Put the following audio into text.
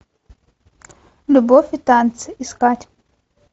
любовь и танцы искать